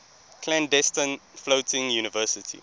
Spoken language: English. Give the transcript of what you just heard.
clandestine floating university